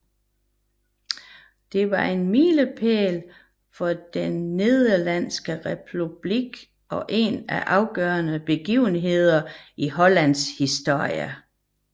Det var en milepæl for den Nederlandske republik og en af de afgørende begivenheder i Hollands historie